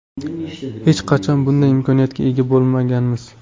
Hech qachon bunday imkoniyatga ega bo‘lmaganmiz.